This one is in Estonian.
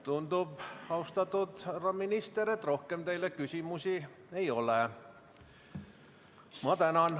Tundub, austatud härra minister, et rohkem teile küsimusi ei ole.